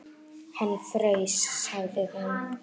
Hann fraus, sagði hún.